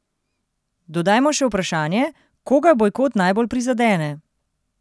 Dodajmo še vprašanje, koga bojkot najbolj prizadene?